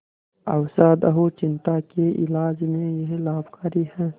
अवसाद और चिंता के इलाज में यह लाभकारी है